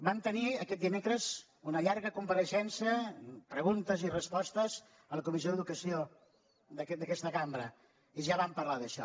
vam tenir aquest dimecres una llarga compareixença amb preguntes i respostes a la comissió d’educació d’aquesta cambra i ja vam parlar d’això